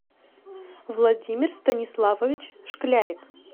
владимир станиславович шклярик